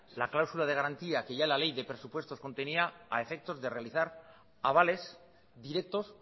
la cláusula de garantías que ya la ley de presupuestos contenía a efectos de realizar avales directos